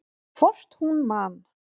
Hvort hún man!